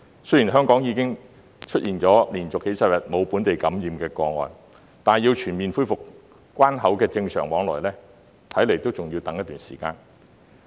雖然香港已經連續數十天沒有本地感染個案，但要全面恢復關口的正常往來，恐怕仍要等待一段時間。